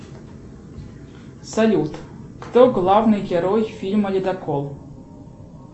салют кто главный герой фильма ледокол